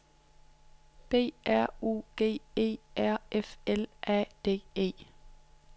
B R U G E R F L A D E